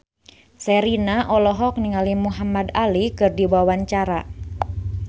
Sherina olohok ningali Muhamad Ali keur diwawancara